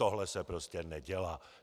Tohle se prostě nedělá.